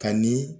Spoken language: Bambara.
Ka ni